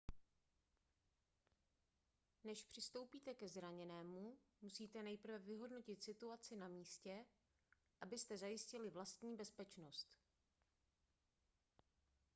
než přistoupíte ke zraněnému musíte nejprve vyhodnotit situaci na místě abyste zajistili vlastní bezpečnost